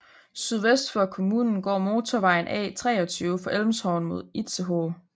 Sydvest for kommunen går motorvejen A 23 fra Elmshorn mod Itzehoe